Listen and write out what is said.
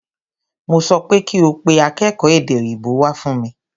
Mo sọ pé kí o pe akékòó èdè òyìnbó wá fún mi!